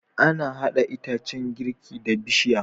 Ana hada itacan girki da bishiya